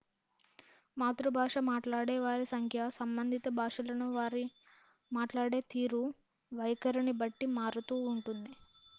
మాతృభాష మాట్లాడే వారి సంఖ్య సంబంధిత భాషలను వారు మాట్లాడే తీరు వైఖరిని బట్టి మారుతూ ఉంటుంది